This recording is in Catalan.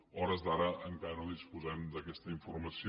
a hores d’ara encara no disposem d’aquesta informació